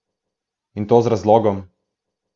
In to z razlogom!